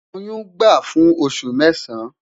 Oyun gba fun osu mẹsan